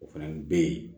O fana bɛ yen